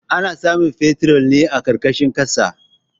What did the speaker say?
Ana samun fetir ne a ƙarƙashin ƙasa.